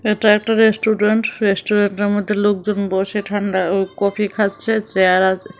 এটা একটা রেস্টুরেন্ট রেস্টুরেন্টের মধ্যে লোকজন বসে ঠান্ডা ও কফি খাচ্ছে চেয়ার আর--